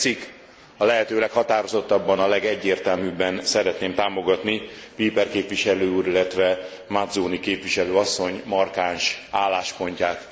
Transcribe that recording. Ha tetszik a lehető leghatározottabban, a legegyértelműbben szeretném támogatni Olbrycht képviselő úr, illetve Mazzoni képviselő asszony markáns álláspontját.